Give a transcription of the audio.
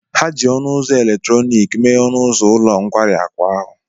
Ha ji ọnụ ụzọ eletrọnịkị mee ọnụ ụzọ ulo nkwari akụ ahụ